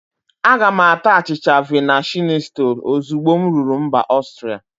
Aga m ata achịcha vina shinitsọl ozugbo m ruru mbà Ọstria.